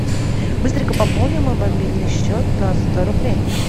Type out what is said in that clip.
быстренько пополни мой мобильный счет на сто рублей